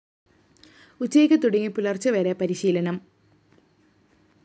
ഉച്ചയ്ക്ക് തുടങ്ങി പുലര്‍ച്ചവരെ പരിശീലനം